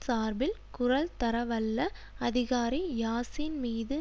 சார்பில் குரல்தரவல்ல அதிகாரி யாசின் மீது